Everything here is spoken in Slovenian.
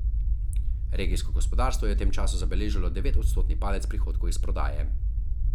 Regijsko gospodarstvo je v tem času zabeležilo devetodstotni padec prihodkov iz prodaje.